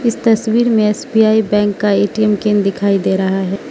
इस तस्वीर में एस_बी_आई बैंक का ए_टी_एम केन दिखाई दे रहा है।